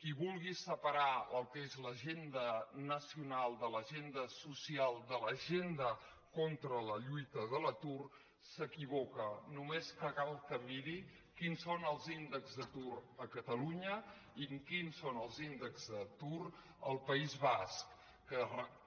qui vulgui separar el que és l’agenda nacional de l’agenda social de l’agenda contra la lluita de l’atur s’equivoca només cal que miri quins són els índex d’atur a catalunya i quins són els índexs d’atur al país basc que